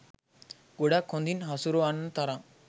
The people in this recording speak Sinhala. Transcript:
ගොඩක් හොඳින් හසුරවන්න තරම්.